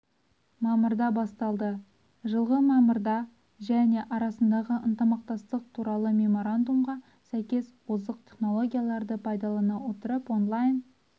мамырда басталды жылғы мамырда және арасындағы ынтымақтастық туралы меморандумға сәйкес озық технологияларды пайдалана отырып онлайн